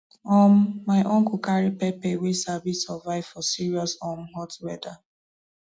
um my uncle carry pepper wey sabi survive for serious um hot weather